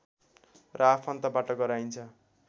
र आफन्तबाट गराइन्छ